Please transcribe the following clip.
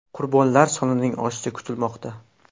Qurbonlar sonining oshishi kutilmoqda.